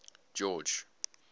george